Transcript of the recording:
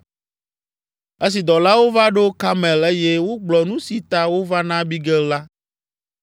Esi dɔlawo va ɖo Karmel eye wogblɔ nu si ta wova na Abigail la,